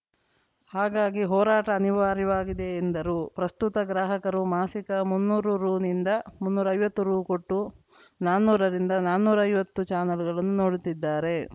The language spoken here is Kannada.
ಹಾಗಾಗಿ ಹೋರಾಟ ಅನಿವಾರ್ಯವಾಗಿದೆ ಎಂದರು ಪ್ರಸ್ತುತ ಗ್ರಾಹಕರು ಮಾಸಿಕ ಮುನ್ನೂರು ರುನಿಂದ ಮುನ್ನೂರೈವತ್ತು ರು ಕೊಟ್ಟು ನಾನ್ನೂರರಿಂದ ನಾನ್ನೂರೈವತ್ತು ಚಾನಲ್‌ಗಳನ್ನು ನೋಡುತ್ತಿದ್ದಾರೆ